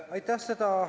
Aitäh!